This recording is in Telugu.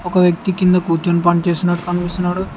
ఒక వ్యక్తి కింద కూర్చొని పనిచేస్తున్నట్టు కనిపిస్తున్నాడు.